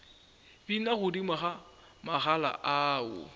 bina godimo ga magala ao